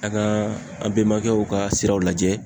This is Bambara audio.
An ka an bɛmakɛw ka siraw lajɛ.